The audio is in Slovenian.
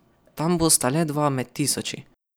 Tam bosta le dva med tisoči.